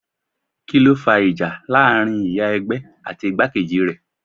Kíló fa ìjà láàárín ìyá ẹgbẹ́ àti igbákejì rẹ̀?